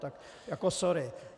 Tak jako sorry.